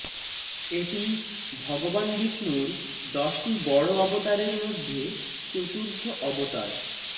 এটি ভগবান বিষ্ণুর দশটি বড় অবতারের মধ্যে চতুর্থ অবতার